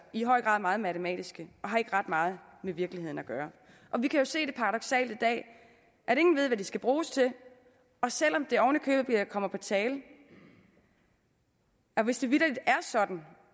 i høj grad meget matematiske og har ikke ret meget med virkeligheden at gøre vi kan jo se det paradoksale i dag at ingen ved hvad de skal bruges til og selv om det ovenikøbet kommer på tale at hvis det vitterlig er sådan